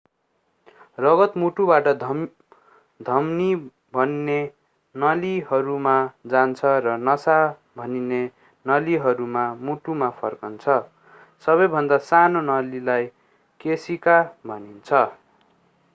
रगत मुटुबाट धमनी भनिने नलीहरूमा जान्छ र नसा भनिने नलीहरूमा मुटुमा फर्कन्छ सबैभन्दा साना नलीलाई केशिका भनिन्छ